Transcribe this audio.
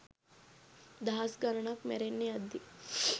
දහස් ගණනක් මැරෙන්න යද්දී